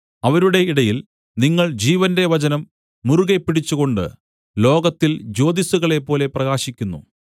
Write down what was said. അവരുടെ ഇടയിൽ നിങ്ങൾ ജീവന്റെ വചനം മുറുകെപ്പിടിച്ചുകൊണ്ട് ലോകത്തിൽ ജ്യോതിസ്സുകളെപ്പോലെ പ്രകാശിക്കുന്നു